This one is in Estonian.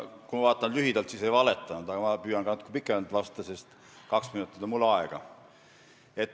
Kui ma vastan lühidalt, siis ütlen, et ei valetanud, aga ma püüan ka natuke pikemalt vastata, sest mul on kaks minutit aega.